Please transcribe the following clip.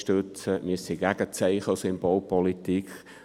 Wir sind gegen Zeichen- und Symbolpolitik.